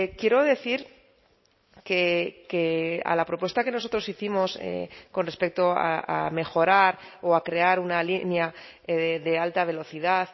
quiero decir que a la propuesta que nosotros hicimos con respecto a mejorar o a crear una línea de alta velocidad